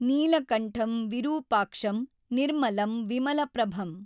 ನೀಲಕಂಠಂ ವಿರೂಪಾಕ್ಷಂ ನಿರ್ಮಲಂ ವಿಮಲ ಪ್ರಭಮ್!